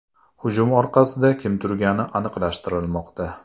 Hujum orqasida kim turgani aniqlashtirilmoqda.